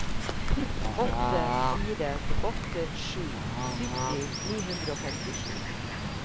åtte fire åtte sju sytti ni hundre og femtisju